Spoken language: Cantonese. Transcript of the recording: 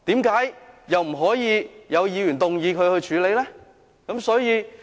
為何不可以有議員動議議案處理？